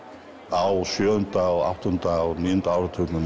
á sjöunda og áttunda og níunda áratugnum